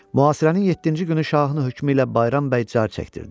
Mühasirənin yeddinci günü şahın hökmü ilə Bayram bəy car çəkdirdi.